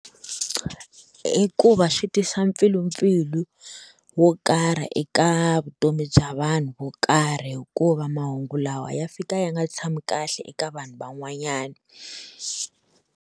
I ku va swi tisa mpfilumpfilu wo karhi eka vutomi bya vanhu vo karhi hikuva mahungu lawa ya fika ya nga tshami kahle eka vanhu van'wanyana.